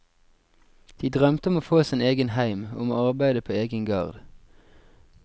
De drømte om å få sin egen heim, om å arbeide på egen gard.